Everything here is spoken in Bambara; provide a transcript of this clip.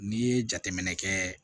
N'i ye jateminɛ kɛ